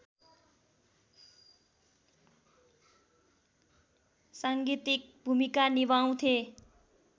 साङ्गीतिक भूमिका निभाउँथे